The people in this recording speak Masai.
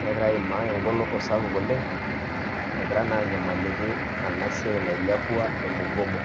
,negira aimaa egoloto sapuk oleng',egira naa anyamaliki ena siai nailepua e mugomo.